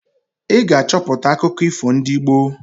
Ị ga-achọpụta akụkọ ifo ndị gboo!